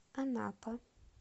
анапа